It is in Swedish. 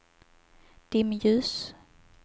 dimljus